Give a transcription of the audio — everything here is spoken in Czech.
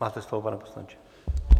Máte slovo, pane poslanče.